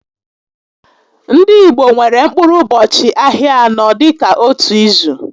Ndị Igbo nwèrè mkpụrụ ụbọchị ahịa anọ dịka ótú ízù